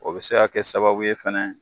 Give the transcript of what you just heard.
O be se ka kɛ sababu ye fɛnɛ